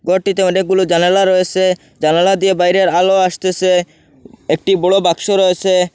গরটিতে অনেকগুলো জানালা রয়েসে জানালা দিয়ে বাইরের আলো আসতেসে একটি বড় বাক্স রয়েসে।